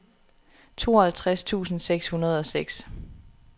tooghalvtreds tusind seks hundrede og seks